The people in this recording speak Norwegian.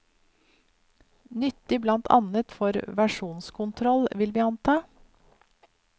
Nyttig blant annet for versjonskontroll, vil vi anta.